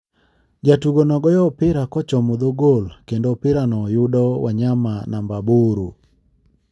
Jatugono goyo opira kochomo dho gol kendo opira no yudo wanyama namba aboro,